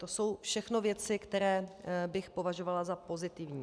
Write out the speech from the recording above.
To jsou všechno věci, které bych považovala za pozitivní.